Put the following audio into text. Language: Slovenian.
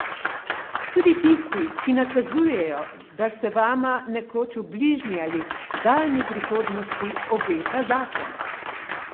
Tudi tisti, ki nakazujejo, da se vama nekoč v bližnji ali daljni prihodnosti obeta zakon.